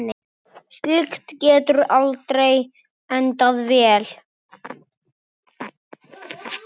Slíkt getur aldrei endað vel.